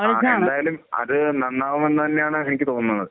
ആഹ്. എന്തായാലും അത് നന്നാവും എന്ന് തന്നെയാണ് എനിക്ക് തോന്നുന്നത്.